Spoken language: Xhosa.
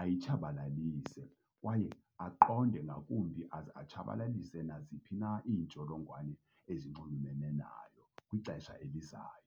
ayitshabalalise, kwaye aqonde ngakumbi aze atshabalalise naziphi na iintsholongwane ezinxulumene nayo kwixesha elizayo.